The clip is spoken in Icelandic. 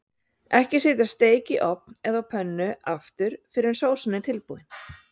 Ekki setja steik í ofn eða á pönnu aftur fyrr en sósan er tilbúin.